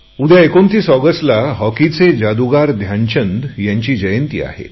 उद्या 29 ऑगस्टला हॉकीचा जादूगार ध्यानचंद यांची जन्मदिन आहे